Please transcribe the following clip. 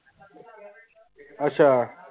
ਆਚਾ